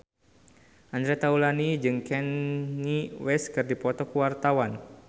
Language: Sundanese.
Andre Taulany jeung Kanye West keur dipoto ku wartawan